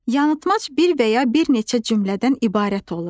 Yanılmac bir və ya bir neçə cümlədən ibarət olur.